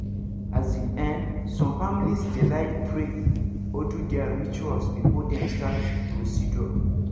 as in[um]some families dey like pray or do their rituals before dem start procedure